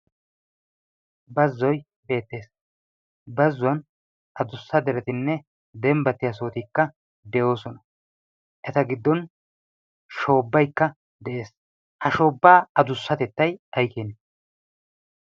bazzoy beettees bazzuwan adussa deretinne dembbattiyaa sootikka de'oosona eta giddon shoobbaikka de'ees ha shoobbaa adussatettai aikin?